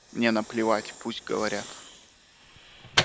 мне наплевать пусть говорят